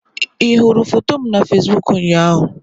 Ị hụrụ foto m na Fesiboku ụnyaahụ?